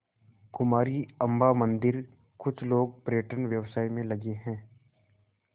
कुमारी अम्मा मंदिरकुछ लोग पर्यटन व्यवसाय में लगे हैं